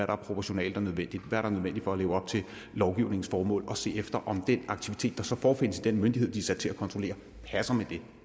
der proportionalt og nødvendigt hvad der er nødvendigt for at leve op til lovgivningens formål og se efter om den aktivitet der så forefindes i den myndighed de er sat til at kontrollere passer med det